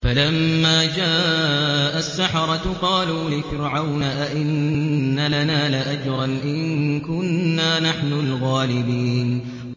فَلَمَّا جَاءَ السَّحَرَةُ قَالُوا لِفِرْعَوْنَ أَئِنَّ لَنَا لَأَجْرًا إِن كُنَّا نَحْنُ الْغَالِبِينَ